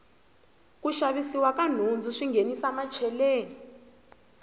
ku xavisiwa ka nhundzu swi nghenisa macheleni